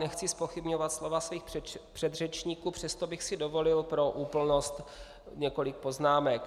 Nechci zpochybňovat slova svých předřečníků, přesto bych si dovolil pro úplnost několik poznámek.